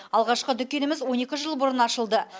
алғашқы дүкеніміз он екі жыл бұрын ашылды